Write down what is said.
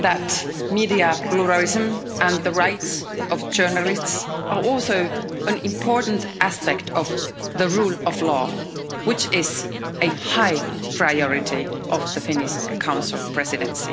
that media pluralism and the rights of journalists are also an important aspect of the rule of law, which is a high priority of the Finnish Council Presidency.